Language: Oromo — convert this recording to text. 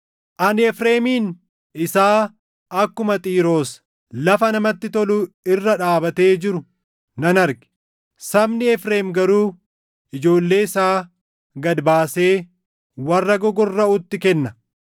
Ani Efreemin isaa akkuma Xiiroos lafa namatti tolu irra dhaabatee jiru nan arge. Sabni Efreem garuu ijoollee isaa gad baasee warra gogorraʼutti kenna.”